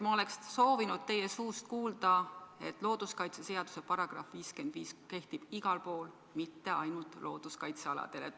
Ma oleks soovinud teie suust kuulda, et looduskaitseseaduse § 55 kehtib igal pool, mitte ainult looduskaitsealadel.